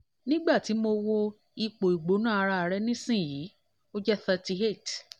nígbà tí mo wo ipò ìgbóná ara rẹ nísìnyí ó jẹ́ thirty eight